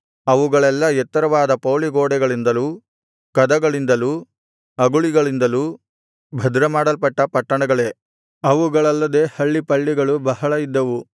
ಅವುಗಳೆಲ್ಲಾ ಎತ್ತರವಾದ ಪೌಳಿಗೋಡೆಗಳಿಂದಲೂ ಕದಗಳಿಂದಲೂ ಅಗುಳಿಗಳಿಂದಲೂ ಭದ್ರಮಾಡಲ್ಪಟ್ಟ ಪಟ್ಟಣಗಳೇ ಅವುಗಳಲ್ಲದೆ ಹಳ್ಳಿಪಳ್ಳಿಗಳು ಬಹಳ ಇದ್ದವು